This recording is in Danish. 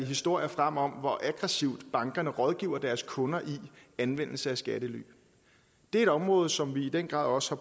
historier frem om hvor aggressivt bankerne rådgiver deres kunder i anvendelse af skattely det er et område som vi i den grad også